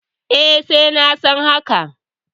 E, na san haka.